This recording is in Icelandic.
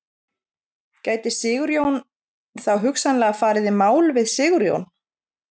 Gæti Sigurjón þá hugsanlega farið í mál við Sigurjón?